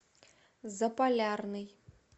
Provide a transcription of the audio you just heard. заполярный